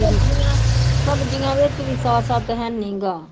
ਸਬਜ਼ੀਆਂ ਸਬਜ਼ੀਆਂ ਵਿੱਚ ਵੀ ਸਾਹ ਸੱਤ ਹੈ ਨੀ ਗਾ।